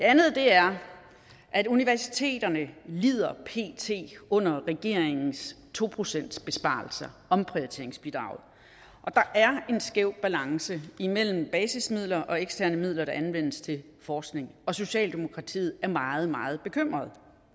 andet er at universiteterne lider under regeringens to procentsbesparelser omprioriteringsbidraget der er en skæv balance imellem basismidler og eksterne midler der anvendes til forskning og socialdemokratiet er meget meget bekymret